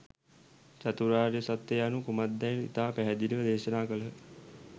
චතුරාර්ය සත්‍යය යනු කුමක්දැයි ඉතා පැහැදිලිව දේශනා කළහ.